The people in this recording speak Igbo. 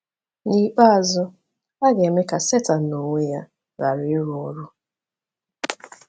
N’ikpeazụ, a ga-eme ka Setan n’onwe ya ghara ịrụ ọrụ.